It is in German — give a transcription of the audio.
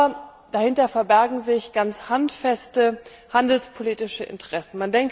Aber dahinter verbergen sich ganz handfeste handelspolitische Interessen.